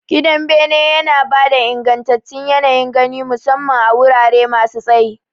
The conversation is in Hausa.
Gidan bene yana ba da ingantattun yanayin gani, musamman a wurare masu tsayi.